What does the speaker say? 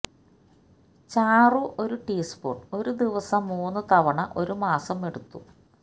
ചാറു ഒരു ടീസ്പൂണ് ഒരു ദിവസം മൂന്നു തവണ ഒരു മാസം എടുത്തു